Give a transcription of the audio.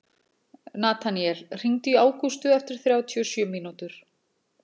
Nataníel, hringdu í Ágústu eftir þrjátíu og sjö mínútur.